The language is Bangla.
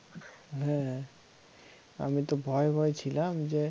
হে হে আমি তো ভয়ে ভয়ে ছিলাম যে